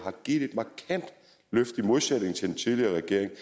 i modsætning til den tidligere regeringen